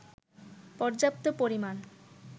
পর্যাপ্ত পরিমাণ